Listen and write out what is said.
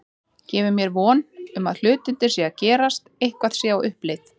Gefur mér von um að hlutirnir séu að gerast, eitthvað sé á uppleið.